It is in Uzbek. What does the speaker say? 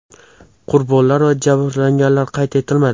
Qurbonlar va jabrlanganlar qayd etilmadi.